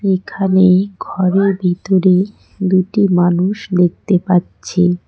এখানে ঘরের ভিতরে দুটি মানুষ দেখতে পাচ্ছি।